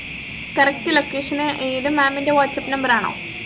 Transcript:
correct location നു ഏർ ഇത് maam ൻറെ whatsapp number ആണോ